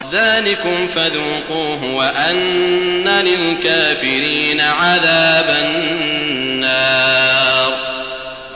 ذَٰلِكُمْ فَذُوقُوهُ وَأَنَّ لِلْكَافِرِينَ عَذَابَ النَّارِ